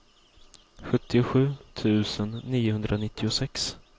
sjuttiosju tusen niohundranittiosex